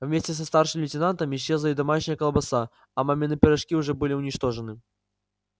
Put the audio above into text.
вместе со старшим лейтенантом исчезла и домашняя колбаса а мамины пирожки уже были уничтожены